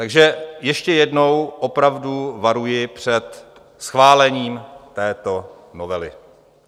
Takže ještě jednou opravdu varuji před schválením této novely.